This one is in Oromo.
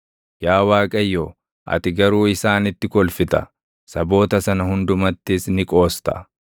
Yaa Waaqayyo, ati garuu isaanitti kolfita; saboota sana hundumattis ni qoosta.